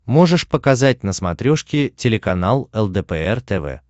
можешь показать на смотрешке телеканал лдпр тв